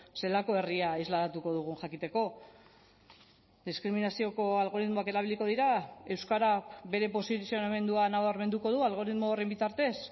zelako herria islatuko dugun jakiteko diskriminazioko algoritmoak erabiliko dira euskarak bere posizionamendua nabarmenduko du algoritmo horren bitartez